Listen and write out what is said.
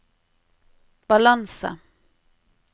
balanse